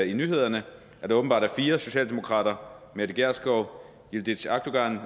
i nyhederne at der åbenbart er fire socialdemokrater mette gjerskov yildiz akdogan